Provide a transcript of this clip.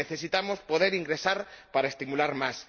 Necesitamos poder ingresar para estimular más.